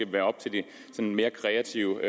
være op til de mere kreative i